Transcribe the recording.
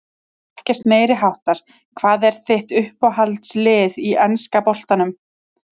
Ekkert meiriháttar Hvað er þitt uppáhaldslið í enska boltanum?